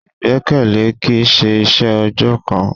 Ìgbẹ́kẹ̀lé kìí ṣe iṣẹ́ ọjọ́ kan.